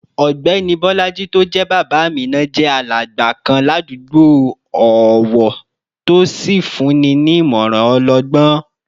Ọ̀gbẹ́ni Bolaji tó jẹ́ bàbá Amina jẹ́ alàgbà kan ládùúgbò ọ̀wọ̀ tó sì fúnni ní ìmọ̀ràn ọlọgbọ́n